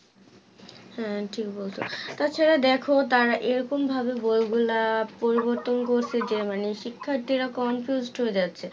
হ্যাঁ ঠিক বলছো তাছাড়া দেখো তারা এই রকম ভাবে বইগুলা পরিবর্তন করছে যে মানে শিক্ষার্থীরা confused হয়ে যাচ্ছে